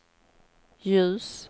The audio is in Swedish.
ljus